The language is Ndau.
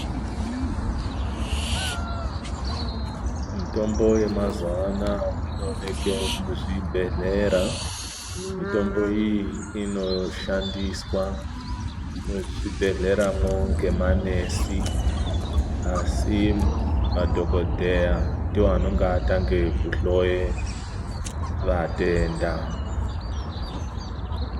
Mitombo yemazuwa anaya inooneke muzvibhehlera, mitombo iyi inoshandiswa muzvibhehleramwo ngemaNesi asi madhokodheya ndiwo anenge atange kuhloye vatenda.